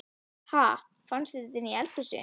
Ha! Fannstu þetta inni í eldhúsi?